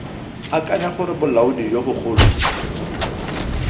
akanya gore bolaodi jo bogolo